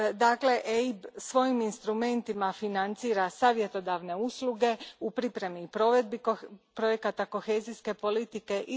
Dakle, EIB svojim instrumentima financira savjetodavne usluge u pripremi i provedbi projekata kohezijske politike.